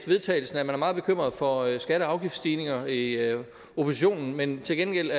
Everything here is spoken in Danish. vedtagelse at man er meget bekymret for skatte og afgiftsstigninger i oppositionen men til gengæld